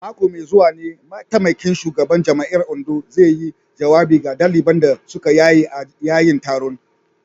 A mako mai zuwa ne mataimakin shugaban jami’ar Ondo zai yi jawabi ga daliban da suka yaye a yayin taron.